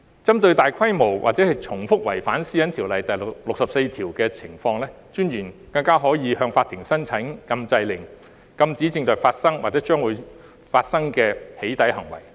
針對大規模或重複違反《私隱條例》第64條的情況，私隱專員更加可以向法庭申請禁制令，禁止正在發生或將會將生的"起底"行為。